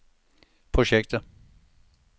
projekter